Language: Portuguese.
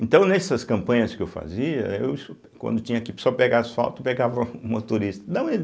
Então, nessas campanhas que eu fazia, eu so quando tinha que só pegar asfalto, pegava o motorista dá uma i.